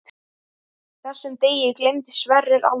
Þessum degi gleymdi Sverrir aldrei.